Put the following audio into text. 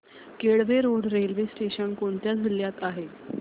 Kelve road railway station कोणत्या जिल्ह्यात आहे